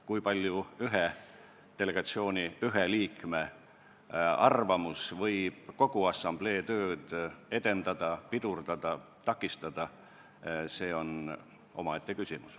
Kui palju ühe delegatsiooni ühe liikme arvamus võib kogu assamblee tööd edendada, pidurdada või takistada, see on omaette küsimus.